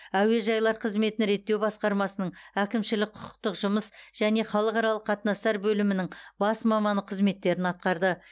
әуежайлар қызметін реттеу басқармасының әкімшілік құқықтық жұмыс және халықаралық қатынастар бөлімінің бас маманы қызметтерін атқарды